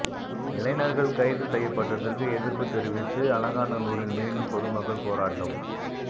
இளைஞர்கள் கைது செய்யப்பட்டதற்கு எதிர்ப்பு தெரிவித்து அலங்காநல்லூரில் மீண்டும் பொதுமக்கள் போராட்டம்